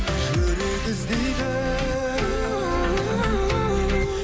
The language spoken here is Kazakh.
жүрек іздейді